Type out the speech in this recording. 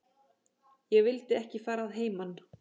Ég vildi ekki fara að heiman.